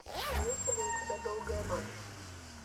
имеется ли у тебя долгая ночь